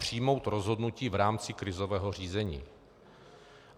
Přijmout rozhodnutí v rámci krizového řízení.